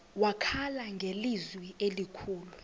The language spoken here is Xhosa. wakhala ngelizwi elikhulu